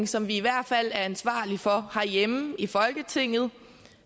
som vi i hvert fald er ansvarlig for herhjemme i folketinget og